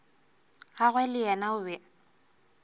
gagwe le yena o be